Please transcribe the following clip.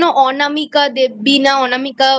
অনামিকা দেবী না অনামিকা